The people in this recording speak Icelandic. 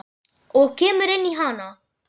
Og kemur inn í hana.